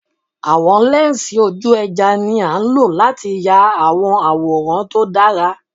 Awọn lẹnsi oju-ẹja ni a lo lati ya awọn iyaworan to dara